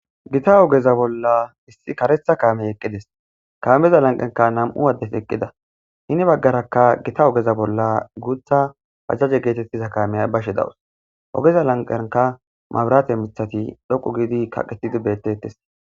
gita ogeza bolla issi karetha kaamey eqqides kaameza lanqanka nam'u addes eqqida hini baggarakka gita ogeza bolla guutha pajaje geetettiza kaameyay bashe dawus ogeza lanqanka mabrate mithati dhoqu giidi kaqetidi betettes